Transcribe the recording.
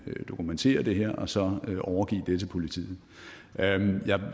vi kan dokumentere det her og så overgive det til politiet